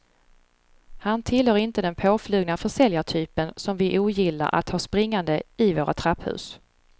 Han tillhör inte den påflugna försäljartypen som vi ogillar att ha springande i våra trapphus.